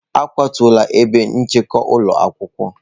A kwatuola ebe nchekwa ụlọ akwụkwọ.